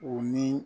U ni